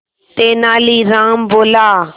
तेनालीराम बोला